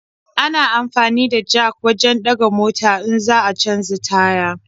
Ana amfani da jak wajen ɗaga mota in za a canja taya.